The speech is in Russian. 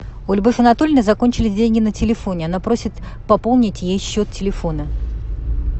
у любовь анатольевны закончились деньги на телефоне она просит пополнить ей счет телефона